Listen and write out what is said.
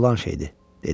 Olan şeydir, dedi.